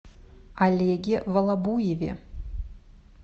олеге волобуеве